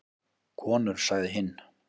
Konur sagði hinn.